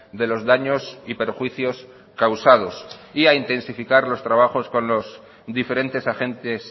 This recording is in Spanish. de los daños y perjuicios causados y a intensificar los trabajos con los diferentes agentes